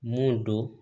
Mun don